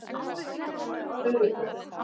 Furubrún